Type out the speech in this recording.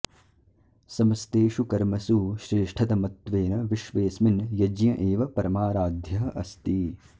समस्तेषु कर्मसु श्रेष्ठतमत्वेन विश्वेस्मिन् यज्ञ एव परमाराध्यः अस्ति